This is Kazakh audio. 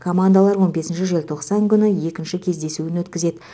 командалар он бесінші желтоқсан күні екінші кездесуін өткізеді